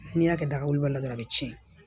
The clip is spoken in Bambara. N'i y'a kɛ daga woloba la dɔrɔn a bi tiɲɛ